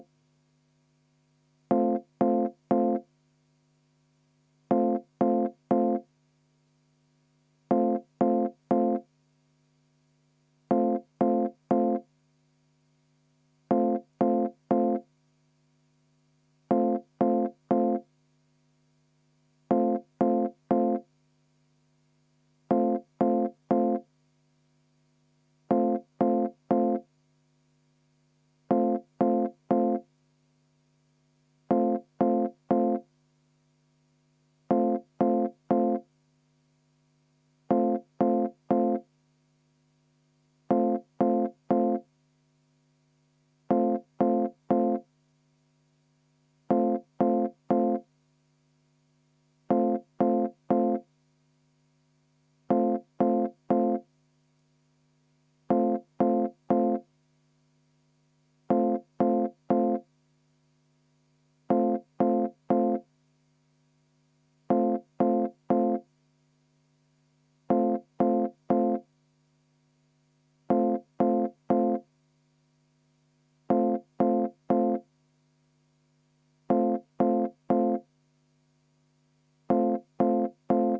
V a h e a e g